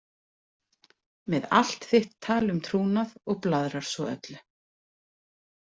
Með allt þitt tal um trúnað og blaðrar svo öllu.